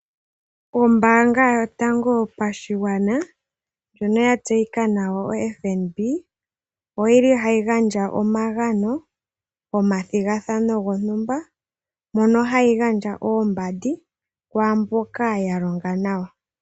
Ombaanga yotango yopashigwana ndjono ya tseyika nawa FNB, oyili hayi gandja omagano momathigathano gontumba, mono hayi gandja oombandi kwaamboka ya longa nawa.